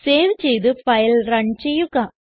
save ചെയ്ത് file run ചെയ്യുക